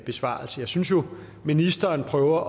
besvarelse jeg synes jo at ministeren prøver at